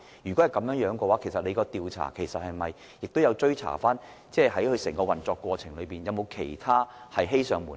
如果是這樣，當局在調查過程中有否追查承辦商在整個運作期間，是否還有其他事情欺上瞞下？